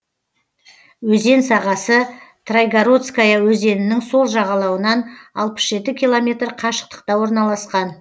өзен сағасы трайгородская өзенінің сол жағалауынан алпыс жеті километр қашықтықта орналасқан